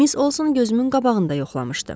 Miss Olson gözümün qabağında yoxlamışdı.